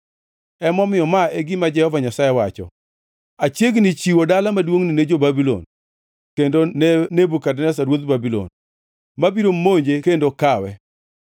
Emomiyo, ma e gima Jehova Nyasaye wacho: Achiegni chiwo dala maduongʼni ne jo-Babulon kendo ne Nebukadneza ruodh Babulon, ma biro monje kendo kawe.